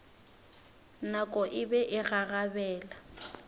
nako e be e gagabela